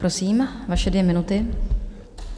Prosím, vaše dvě minuty.